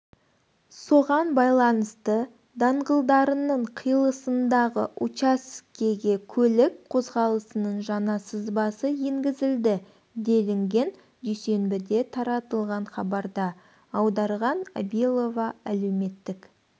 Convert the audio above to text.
соған байланысты даңғылдарының қиылысындағы учаскегекөлік қозғалысының жаңа сызбасы енгізілді делінген дүйсенбіде таратылған хабарда аударған абилова әлеуметтік